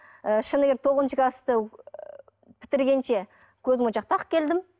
ы шыны керек тоғызыншы класты бітіргенше көзмошақ тағып келдім